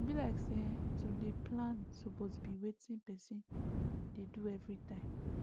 e be like say[um]to dey plan suppose be wetin person dey do everytime